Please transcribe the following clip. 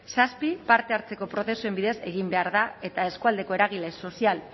zazpi parte hartzeko prozesuen bidez egin behar da eta eskualdeko eragile sozial